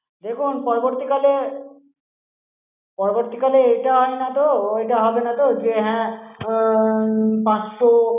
দেখুন পরবর্তীকালে, পরবর্তীকালে, এটা হয়না তো, ওটা হবেনা তো, যে হ্যাঁ উম পাঁচশো।